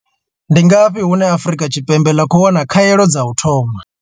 Ndi ngafhi hune Afrika Tshipembe ḽa khou wana hone khaelo dza u thoma?